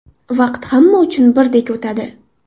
Vaqt hamma uchun birdek o‘tadi.